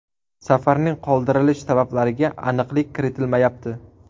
Safarning qoldirilish sabablariga aniqlik kiritilmayapti.